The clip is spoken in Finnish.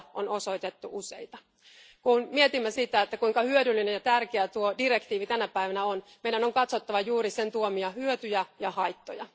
aloja on osoitettu useita. Kun mietimme sitä, että kuinka hyödyllinen ja tärkeä tuo direktiivi tänä päivänä on, meidän on katsottava juuri sen tuomia hyötyjä ja haittoja.